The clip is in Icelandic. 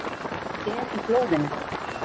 Er í blóðinu.